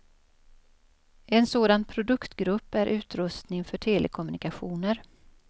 En sådan produktgrupp är utrustning för telekommunikationer.